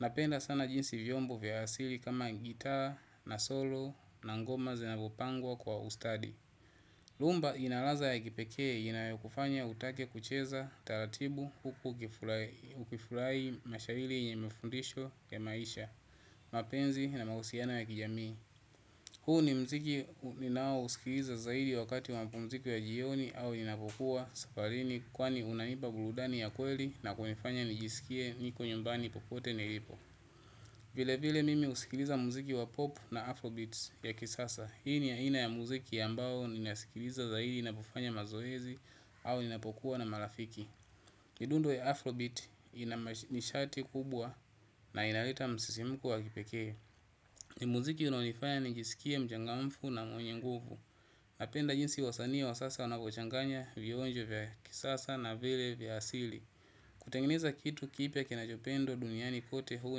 Napenda sana jinsi vyombo vya asili kama gitaa na solo na ngoma zinavyopangwa kwa ustadi. Rhumba ina ladha ya kipekee inayokufanya utake kucheza taratibu huku ukifurahi mashairi yenye mafundisho ya maisha, mapenzi na mahusiano ya kijamii. Huu ni muziki ninaousikiliza zaidi wakati wa mapumziko ya jioni au ninapokuwa safarini kwani unanipa burudani ya kweli na kunifanya nijisikie niko nyumbani popote nilipo. Vilevile mimi husikiliza muziki wa pop na afrobeats ya kisasa. Hii ni aina ya muziki ambao ninasikiliza zaidi ninapofanya mazoezi au ninapokuwa na marafiki. Midundo ya afrobeat ina nishati kubwa na inaleta msisimko wa kipekee. Ni muziki unaonifaya nijisikie mchangamfu na mwenye nguvu. Napenda jinsi wasanii wa sasa wanavyochanganya vionjo vya kisasa na vile vya asili. Kutengeneza kitu kipya kinachopendwa duniani kote huu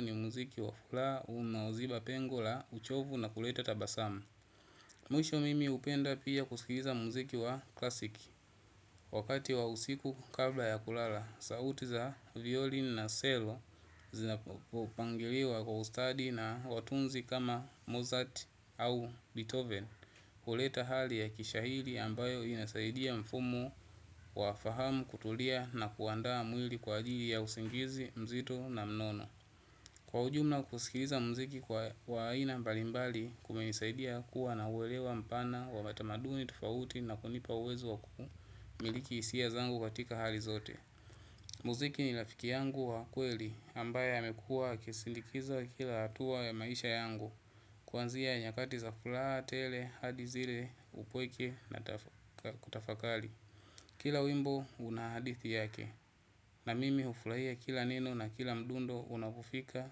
ni muziki wa furaha unaoziba pengo la uchovu na kuleta tabasamu. Mwisho mimi hupenda pia kusikiza muziki wa classic. Wakati wa usiku kabla ya kulala, sauti za violin na cello zinapopangiliwa kwa ustadi na watunzi kama Mozart au Beethoven huleta hali ya kishairi ambayo inasaidia mfumo wa fahamu kutulia na kuandaa mwili kwa ajili ya usingizi mzito na mnono. Kwa ujumla kusikiliza muziki wa aina mbalimbali kumenisaidia kuwa na uelewa mpana wa matamaduni tofauti na kunipa uwezo wa kumiliki hisia zangu katika hali zote. Muziki ni rafiki yangu wa kweli ambaye amekuwa akisindikiza kila hatua ya maisha yangu. Kuanzia nyakati za furaha tele hadi zile upweke na kutafakari kila wimbo una hadithi yake na mimi hufurahia kila neno na kila mdundo unapofika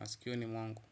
masikioni mwangu.